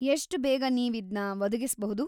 ಎಷ್ಟ್ ಬೇಗ ನೀವಿದ್ನ ಒದಗಿಸ್ಬಹುದು?